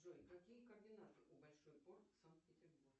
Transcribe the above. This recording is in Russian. джой какие координаты у большой порт санкт петербург